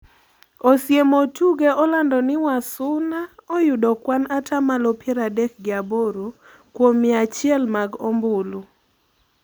Osiemo Otuge olando ni Wasuna "oyudo kwan ata malo piero adek gi aboro kuom mia achiel mag ombulu."